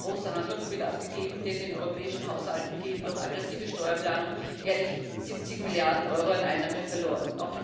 Hier ist großer Handlungsbedarf gegeben, denn den europäischen Haushalten gehen durch aggressive Steuerplanung jährlich 70 Milliarden Euro an Einnahmen verloren.